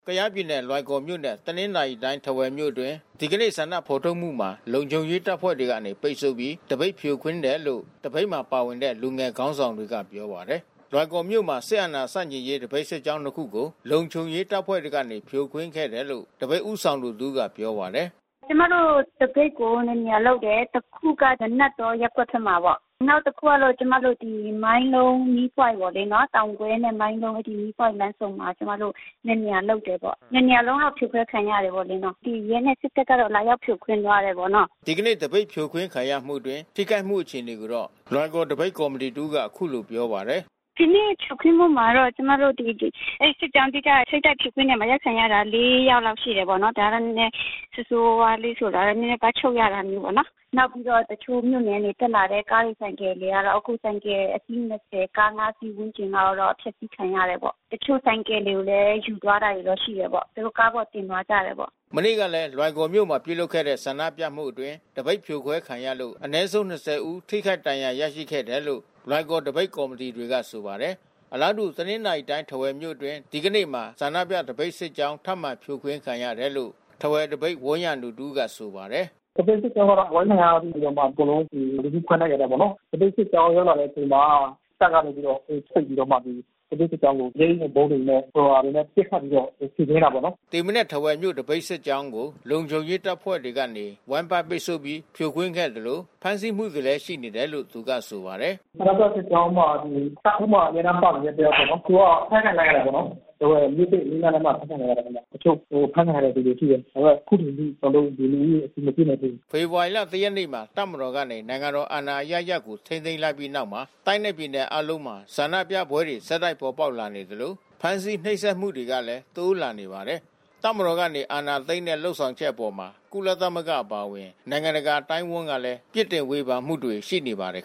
ကယားပြည်နယ် လွိုင်ကော်မြို့နဲ့ တနင်္သာရီတိုင်း ထားဝယ်မြို့အတွင်း ဒီကနေ့ ဆန္ဒဖော်ထုတ်မှုမှာ လုံခြုံရေး တပ်ဖွဲ့ တွေကနေပိတ်ဆို့ပြီး သပိတ်ဖြိုခွင်းတယ်လို့ သပိတ်မှာ ပါဝင်တဲ့ လူငယ်ခေါင်းဆောင်တွေကပြောပါတယ်။ လွိုင်ကော်မြို့မှာ စစ်အာဏာရှင်ဆန့်ကျင်ရေး သပိတ်စစ်ကြောင်း နှစ်ခုကို လုံခြုံရေးတပ်ဖွဲ့တွေကနေ ဖြိုခွင်းခဲ့တယ်လို့ သပိတ်ဦးဆောင်သူတဦးကပြောပါတယ်။ “ကျမတို့ သပိတ်ကိုနှစ်နေရာလုပ်တယ်။ တခုက နာနတ်တောရပ်ကွက်ထဲမှာပေါ့။ နောက်တခုကတော့ ကျမတို့ မိုင်းလုံး မီးပွိုင့်ပေါ့လေ... တောင်ကွဲနဲ့ မိုင်းလုံးမီးပွိုင့်လမ်းဆုံမှာ ကျမတို့ နှစ်နေရာလုပ်တယ်ပေါ့။ နှစ်နေရာလုံးတော့ ဖြိုခွဲခံရတယ်လေနော်။ ဒီရဲနဲ့ စစ်တပ်ကတော့ လာရောက်ဖြိုခွင်းသွားတယ်ပေါ့နော်။” ဒီကနေ့ သပိတ်ဖြိုခွင်းခံရမှုအတွင်း ထိခိုက်မှုအခြေအနေကိုတော့ လွိုင်ကော်သပိတ်ကော်မီတီတဦးက အခုလို ပြောပါတယ်။ “ဒီနေ့ဖြိုခွင်းမှုမှာတော့ အဲဒီစစ်ကြောင်း ၁ က စစ်တပ်ဖြိုခွင်းရာမှာ အရိုက်ခံရတာက ၄ ယောက် လောက် ရှိတာပေါ့နော်။ ဒါက နည်းနည်းဆိုးဆိုးဝါးဝါးလေးဆိုတာတော့ နည်းနည်း ဖမ်းချုပ်ရတာမျိုးပေါ့နော်။ နောက်ပြီးတော့ တခြားမြို့နယ်က တက်လာတဲ့ ကားတွေဆိုင်ကယ်တွေကတော့ အခုဆိုင်ကယ်အစီး ၂၀၊ ကား ၅ စီးဝန်းကျင်ကတော့ အဖျက်စီးခံရတယ်ပေါ့။ တချို့ဆိုင်ကယ်တွေကိုလည်း ယူသွားတာတွေလည်း ရှိတယ်ပေါ့။ တချို့ကားပေါ် တင်သွားကြတယ်ပေါ့။” မနေ့ကလည်း လွိုင်ကော်မြို့မှာ ပြုလုပ်တဲ့ဆန္ဒပြမှုအတွင်း သပိတ်ဖြိုခွဲခံရလို့ အနည်ဆုံး ၂၀ ဦးကျော် ထိခိုက်ဒဏ်ရာရရှိခဲ့တယ်လို့လည်း လွိုင်ကော်သပိတ်ကော်မီတီတွေကဆိုပါတယ်။ အလားတူ တနင်္သာရီတိုင်း ထားဝယ်မြို့အတွင်း ဆန္ဒပြသပိတ်စစ်ကြောင်း ထပ်မံဖြိုခွင်းခံရတယ်လို့ ထားဝယ်သပိတ် ဝန်းရံသူတဦးက ဆိုပါတယ်။ “သပိတ်စစ်ကြောင်းက အဝိုင်းခံရပြီးတော့မှ ကျနော်တို့ လူစုခွဲလိုက်ရတာပေါ့နော်။ သပိတ်စစ်ကြောင်းရောက်လာတဲ့အချိန်မှာ တပ်ကနေပြီးတော့ သူတို့ ပိတ်ပြီးတော့မှ သပိတ်စစ်ကြောင်းကို မျက်ရည်ယိုဗုံးတွေနဲ့ ဟိုဟာတွေနဲ့ ပစ်ခတ်ပြီးေတော့ ဖြိုခွင်းတာပေါ့နော်။” ဒီမနက် ထားဝယ်မြို့ သပိတ်စစ်ကြောင်းကို လုံခြုံရေးတပ်ဖွဲ့တွေကနေ ဝိုင်းပတ်ပိတ်ဆို့ပြီး ဖြိုခွင်းခဲ့သလို ဖမ်းဆီးမှုတွေလည်း ရှိနေတယ်လို့ သူကဆိုပါတယ်။ “ဆန္ဒပြစစ်ကြောင်းမှာ တပ်ဦးမှာ အမြဲတမ်းပါဝင်နေတဲ့ တယောက်ပေါ့နော်။ သူက အဖမ်းခံလိုက်ရတာပေါ့နော်။ ထားဝယ်မြို့သစ် အနီးနားလမ်းမှာ အဖမ်းခံရတာ။ တချို့အဖမ်းခံရတဲ့သူတွေရှိတယ်။ ဒါပေမဲ့ အခုချိန်ထိ ကျနော်တို့ လူဦးရေအတည်မပြုနိုင်သေးဘူး။” ဖေဖော်ဝါရီလ ၁ ရက်နေ့မှာ တပ်မတော်ကနေ နိုင်ငံတော်အာဏာအရပ်ရပ်ကို ထိန်းသိမ်းလိုက်ပြီးနောက်မှာ တိုင်းနဲ့ ပြည်နယ်အားလုံးမှာ ဆန္ဒပြပွဲတွေ ဆက်တိုက်ပေါ်ပေါက်လာနေသလို ဖမ်းဆီး နှိပ်စက်မှုတွေကလည်း တိုးလာနေပါတယ်။ တပ်မတော်ကနေ အာဏာသိမ်းတဲ့ လုပ်ဆောင်ချက်အပေါ် ကုလသမဂ္ဂအပါအဝင် နိုင်ငံတကာအသိုင်းဝန်းကလည်း ပြစ်တင်ဝေဖန်မှုတွေ ရှိနေပါတယ်